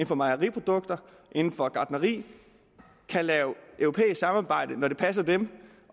for mejeriprodukter inden for gartneri kan lave europæisk samarbejde når det passer dem